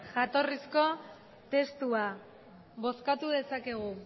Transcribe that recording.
jatorrizko testua bozkatu dezakegu